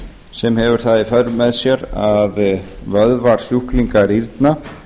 sem hefur það í för með sér að vöðvar sjúklinga rýrna